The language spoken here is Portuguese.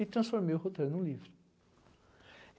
E transformei o roteiro em um livro.